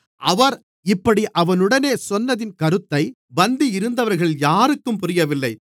அவர் இப்படி அவனுடனே சொன்னதின் கருத்தைப் பந்தியிருந்தவர்களில் யாருக்கும் புரியவில்லை